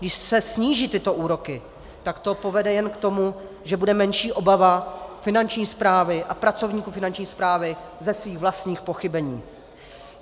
Když se sníží tyto úroky, tak to povede jen k tomu, že bude menší obava Finanční správy a pracovníků Finanční správy ze svých vlastních pochybení.